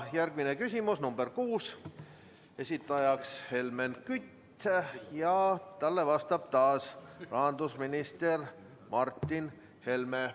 Järgmine küsimus, nr 6, esitaja on Helmen Kütt ja talle vastab taas rahandusminister Martin Helme.